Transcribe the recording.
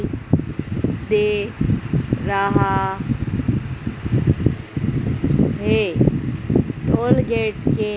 दे रहा है टोलगेट के।--